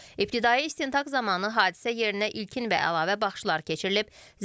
İbtidai istintaq zamanı hadisə yerinə ilkin və əlavə baxışlar keçirilib.